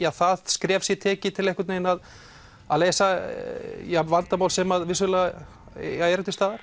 að það skref sé tekið til að leysa vandamál sem vissulega eru til staðar